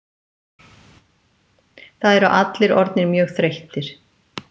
Það eru allir orðnir mjög þreyttir